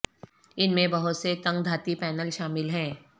ان میں بہت سے تنگ دھاتی پینل شامل ہیں